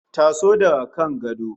Taso daga kan gado